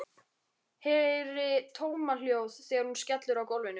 Heyri tómahljóð þegar hún skellur á gólfinu.